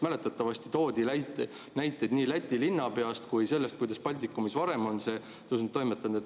Mäletatavasti toodi näiteid nii Läti linnapeast kui ka sellest, kuidas Baltikumis varem on seda tõstetud.